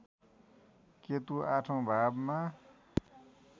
केतु आठौँ भावमा